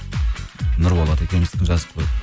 нұрболат екеуміздікін жазып қойдық